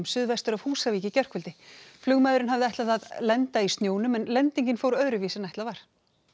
suðvestur af Húsavík í gærkvöld flugmaðurinn hafði ætlað að lenda í snjónum en lendingin fór öðruvísi en ætlað var